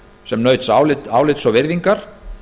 sem naut álits og virðingar